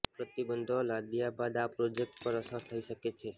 પ્રતિબંધો લદાયા બાદ આ પ્રોજેક્ટ પર અસર થઈ શકે છે